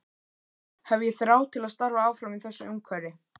Hef ég þrá til að starfa áfram í þessu umhverfi?